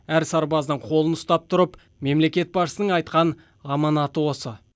әр сарбаздың қолын ұстап тұрып мемлекет басшысының айтқан аманаты осы